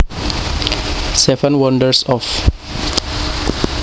Seven Wonders Of